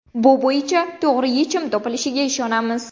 Bu bo‘yicha to‘g‘ri yechim topilishiga ishonamiz.